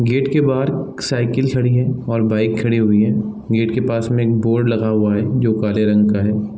Gate के बाहर cycle खड़ी है और बाइक खड़ी हुई है गेट के पास में एक बोर्ड लगा हुआ है जो काले रंग का है।